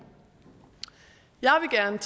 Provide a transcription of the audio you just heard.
jeg vil